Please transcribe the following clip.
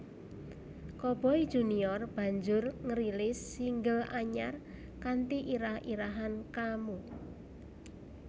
Coboy Junior banjur ngrilis single anyar kanthi irah irahan Kamu